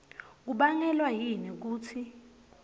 kubangelwa yini kutsi